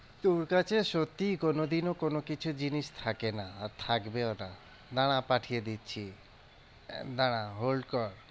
তোর কাছে সত্যি কোনোদিনও কোনোকিছু জিনিস থাকে না, আর থাকবেও না, দাঁড়া পাঠিয়ে দিচ্ছি দাঁড়া hold কর।